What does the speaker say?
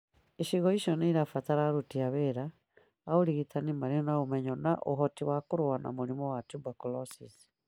Icigo icio nĩ irabatara aruti wĩra a ũrigitani marĩ na ũmenyo na ũhoti wa kũrũa na mũrimũ wa tuberculosis